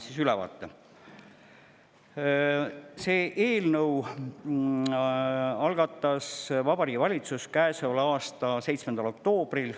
Selle eelnõu algatas Vabariigi Valitsus käesoleva aasta 7. oktoobril.